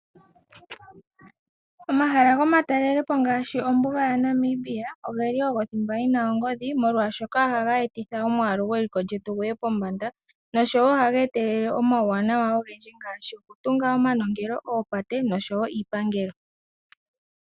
Omahala gomatalelepo ngaashi ombuga ya Namibia ogeli ogo thimba yina ongodhi molwashoka ohaga etitha omwalu gweliko lyetu guye pombanda noshowo ohaga etelela omauwanawa ogendji ngashi okutunga omanongelo, oopate noshowo iipangelo.